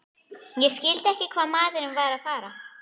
Ég skildi ekki hvað maðurinn var að fara.